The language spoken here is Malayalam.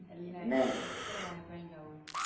അല്ല എത്ര വാഴപ്പഴിണ്ടാവും?